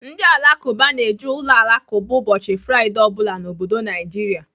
Ndị Alakụba na-eje uloalakụba ụbọchị Fraịdee ọ bụla n'obodo Naijiria.